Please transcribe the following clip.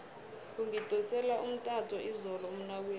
ungidosele umtato izolo umnakwethu